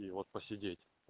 и вот посидеть